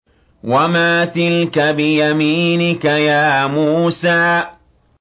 وَمَا تِلْكَ بِيَمِينِكَ يَا مُوسَىٰ